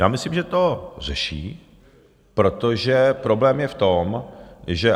Já myslím, že to řeší, protože problém je v tom, že...